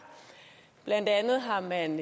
blandt andet har man